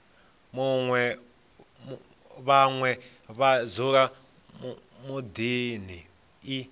vhane vha dzula miḓini i